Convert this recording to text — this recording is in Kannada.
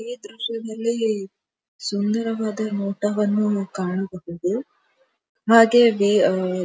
ಈ ದೃಶ್ಯದಲ್ಲಿ ಸುಂದರವಾದ ನೋಟವನ್ನು ಕಾಣಬಹುದು ಹಾಗೆ ವೆ ಆ--